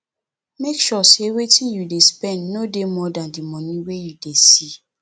make sure sey wetin you dey spend no dey more than di money wey you dey see